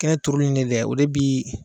Kɛnɛ turuli nin dɛ o de bii